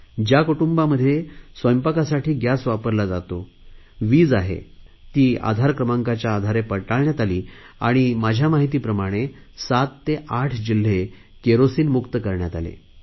ज्या कुटुंबांमध्ये स्वयंपाकासाठी गॅस वापरला जातो वीज आहे ती आधार क्रमाकांच्या आधारे पडताळण्यात आली आणि माझ्या माहितीप्रमाणे 7 ते 8 जिल्हे केरोसिनमुक्त करण्यात आले